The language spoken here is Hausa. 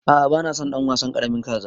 A'a bana son ɗan wasan ƙaramin kaza.